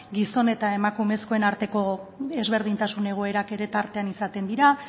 gizonen eta emakumezkoen arteko ezberdintasunen egoerak ere tartean izaten dira